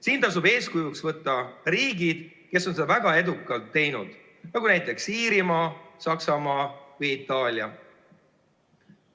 Siin tasub eeskujuks võtta riigid, kes on seda väga edukalt teinud, näiteks Iirimaa, Saksamaa või Itaalia.